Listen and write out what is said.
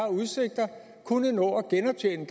kunne nå at genoptjene